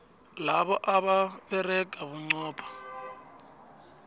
labo abasebenza bunqopha